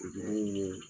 Dumuni mun ye